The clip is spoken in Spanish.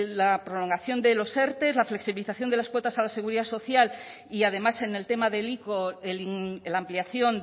la prolongación de los erte la flexibilización de las cuotas a la seguridad social y además en el tema del ico la ampliación